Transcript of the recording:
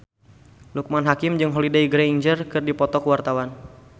Loekman Hakim jeung Holliday Grainger keur dipoto ku wartawan